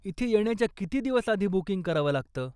इथे येण्याच्या किती दिवस आधी बुकिंग करावं लागतं?